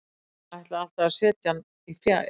Hann ætlaði alltaf að setja hann í fjær.